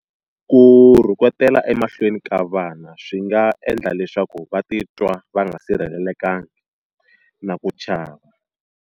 Ku rhuketela emahlweni ka vana swi nga endla leswaku va titwa va nga sirhelelekangi na ku chava.